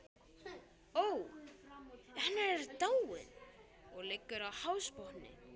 Ó, en hann er dáinn, og liggur á hafsbotni.